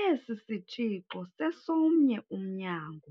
Esi sitshixo sesomnye umnyango